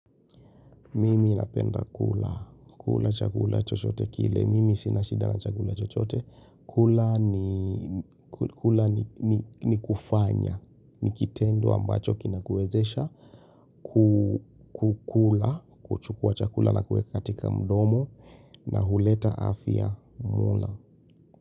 Mimi napenda kula, kula chakula chochote kile. Mimi sina shida na chakula chochote kula ni kula ni kufanya, ni kitendo ambacho kinakuwezesha, kukula, kuchukua chakula na kuweka katika mdomo na huleta afya mola.